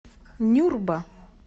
нюрба